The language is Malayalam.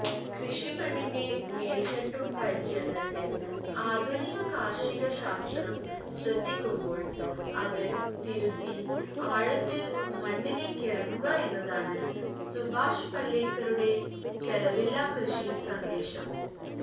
കൃഷിമണ്ണിന്റെ മേല്ത്തട്ടു പരിചരണത്തില് ആധുനിക കാര്ഷിക ശാസ്ത്രം ശ്രദ്ധിക്കുമ്പോള് അത് തിരുത്തി ആഴത്തില് മണ്ണിലേക്കിറങ്ങുകയെന്നതാണ് സുഭാഷ് പലേക്കറുടെ ചെലവില്ലാക്കൃഷി സന്ദേശം